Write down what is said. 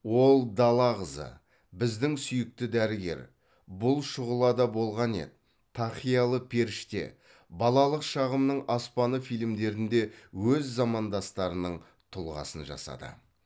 ол дала қызы біздің сүйікті дәрігер бұл шұғылада болған еді тақиялы періште балалық шағымның аспаны фильмдерінде өз замандастарының тұлғасын жасады